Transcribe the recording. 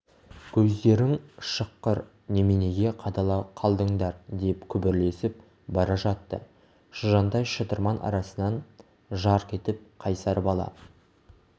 көздерің шыққыр неменеге қадала қалдыңдар деп күбірлесіп бара жатты шыжандай шытырман арасынан жарқ етіп қайсар бала